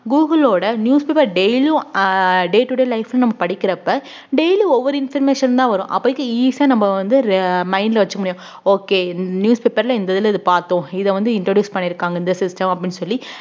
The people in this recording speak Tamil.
google ஓட newspaper daily யும் ஆஹ் day today life ன்னு நம்ம படிக்கிறப்ப daily ஒவ்வொரு information தான் வரும் அப்போதைக்கு easy ஆ நம்ம வந்து re~ mind ல வச்சுக்க முடியும் okay newspaper ல இந்த இதுல இது பார்த்தோம் இத வந்து introduce பண்ணி இருக்காங்க இந்த system அப்படின்னு சொல்லி